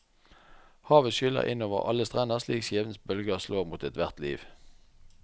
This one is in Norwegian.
Havet skyller inn over alle strender slik skjebnens bølger slår mot ethvert liv.